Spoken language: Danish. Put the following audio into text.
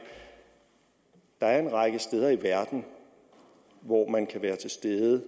at der er en række steder i verden hvor man kan være til stede